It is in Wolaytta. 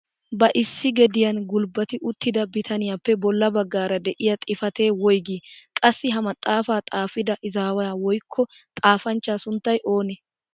Ba issi gediyaan gulbbati uttida bitaniyaappe bolla baggaara de'iyaa xifatee woygii? Qassi ha maxaafaa xaafida izaawaa woykko xaafaanchchaa sunttay oonee?